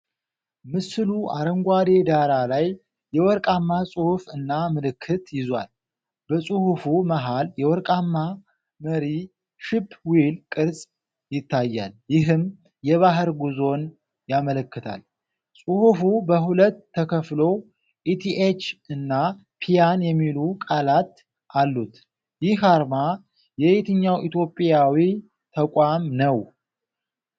ምስሉ አረንጓዴ ዳራ ላይ የወርቃማ ፅሑፍ እና ምልክት ይዟል። በፅሁፉ መሀል የወርቃማ መሪ (ሺፕ ዊል) ቅርጽ ይታያል፤ ይህም የባህር ጉዞን ያመላክታል። ፅሑፉ በሁለት ተከፍሎ 'ኢቲኤች' እና 'ፒያን' የሚሉ ቃላት አሉት። ይህ አርማ የየትኛው ኢትዮጵያዊ ተቋም ነው?